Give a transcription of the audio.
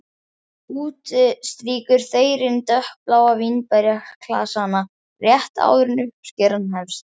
Úti strýkur þeyrinn dökkbláa vínberjaklasana rétt áður en uppskeran hefst.